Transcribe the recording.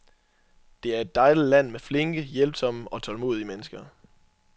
Det er et dejligt land med flinke, hjælpsomme og tålmodige mennesker.